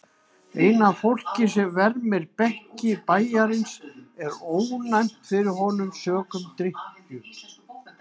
Eina fólkið sem vermir bekki bæjarins er ónæmt fyrir honum sökum drykkju.